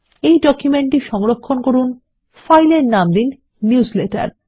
এই ডকুমেন্ট টি সংরক্ষণ করুন ফাইলের নাম দিন নিউজলেটার